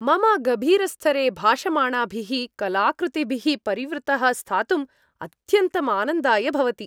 मम गभीरस्तरे भाषमाणाभिः कलाकृतिभिः परिवृतः स्थातुं अत्यन्तं आनन्दाय भवति।